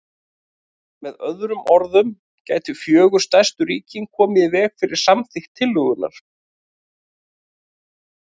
Með öðrum orðum gætu fjögur stærstu ríkin komið í veg fyrir samþykkt tillögunnar.